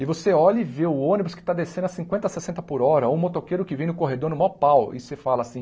E você olha e vê o ônibus que está descendo a cinquenta, sessenta por hora ou um motoqueiro que vem no corredor no maior pau e você fala assim,